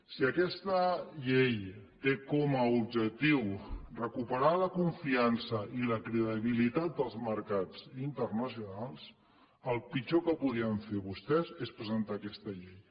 si aquesta llei té com a objectiu recuperar la confiança i la credibilitat dels mercats internacionals el pitjor que podien fer vostès és presentar aquesta llei